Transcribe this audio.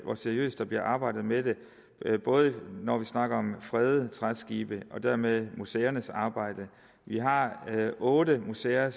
hvor seriøst der bliver arbejdet med det når vi snakker om fredede træskibe og dermed museernes arbejde vi har otte museer